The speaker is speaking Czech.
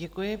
Děkuji.